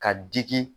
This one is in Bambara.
Ka digi